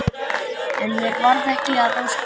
En mér varð ekki að ósk minni.